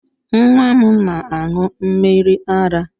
Nwa m na aṅụ mmiri ara